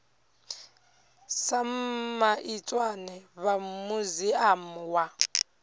sam maitswane vha muziamu wa